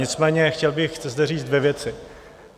Nicméně chtěl bych zde říct dvě věci.